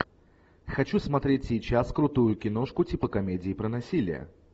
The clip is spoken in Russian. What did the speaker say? хочу смотреть сейчас крутую киношку типа комедии про насилие